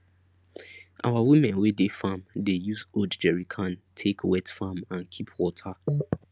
our women wey dey farm dey use old jerrycan take wet farm and keep water